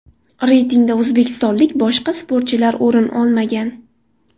Reytingda o‘zbekistonlik boshqa sportchilar o‘rin olmagan.